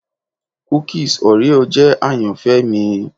Kukis Oreo jẹ ayanfẹ mi